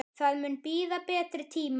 Það mun bíða betri tíma.